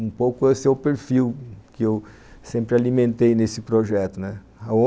Um pouco esse é o perfil que eu sempre alimentei nesse projeto, né